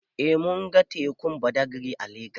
Eh mun ga tekun Badagri a Legas.